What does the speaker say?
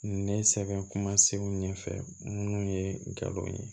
Ne sɛbɛn kuma segu ɲɛfɛ minnu ye galon ye